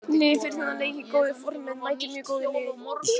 Liðið fer í þennan leik í góðu formi en mætir mjög góðu liði.